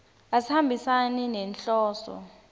asihambisani nenhloso